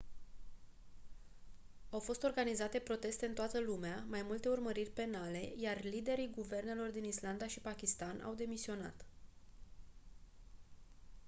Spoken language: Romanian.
au fost organizate proteste în toată lumea mai multe urmăriri penale iar liderii guvernelor din islanda și pakistan au demisionat